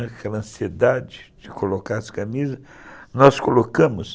Aquela ansiedade de colocar as camisas, nós colocamos.